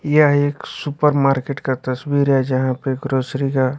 यह एक supermarket का तस्वीर है जहां पर ग्रोसरी का--